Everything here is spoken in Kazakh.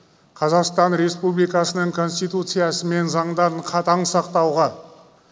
қазақстан республикасының конституциясы мен заңдарын қатаң сақтауға